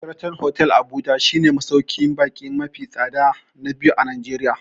Sheraton hotel Abuja shi ne masauƙin baƙi mafi tsada na biyu a Najeriya